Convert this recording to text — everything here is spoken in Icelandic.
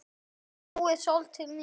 Þetta var góður dagur.